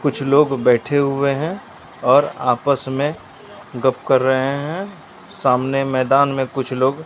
कुछ लोग बैठे हुए हैं और आपस में गप कर रहे हैं सामने मैदान में कुछ लोग--